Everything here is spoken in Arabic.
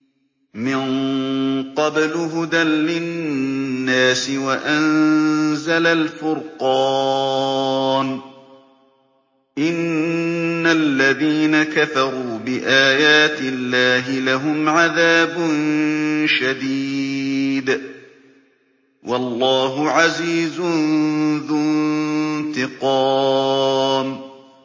مِن قَبْلُ هُدًى لِّلنَّاسِ وَأَنزَلَ الْفُرْقَانَ ۗ إِنَّ الَّذِينَ كَفَرُوا بِآيَاتِ اللَّهِ لَهُمْ عَذَابٌ شَدِيدٌ ۗ وَاللَّهُ عَزِيزٌ ذُو انتِقَامٍ